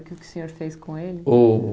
O que que o senhor fez com ele? O o